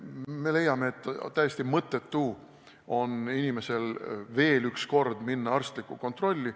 Me leiame, et täiesti mõttetu on inimesel veel kord minna arstlikku kontrolli.